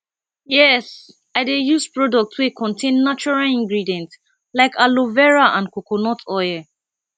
yes i dey use products wey contain natural ingredients like aloe vera and coconut oil